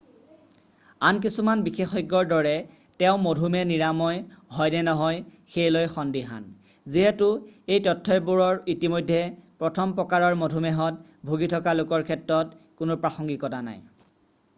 আন কিছুমান বিশেষজ্ঞৰ দৰে তেওঁ মধুমেহ নিৰাময় হয়নে নহয় সেই লৈ সন্দিহান যিহেতু এই তথ্যবোৰৰ ইতিমধ্যে প্ৰথম প্ৰকাৰৰ মধুমেহত ভুগি থকা লোকৰ ক্ষেত্ৰত কোনো প্ৰাসংগিকতা নাই।